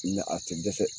a tɛ dɛsɛ